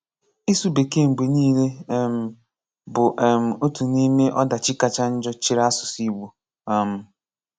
Ịsụ bekee mgbe niile um bụ um otu n'ime ọdachi kacha njọ chere asụsụ Igbo um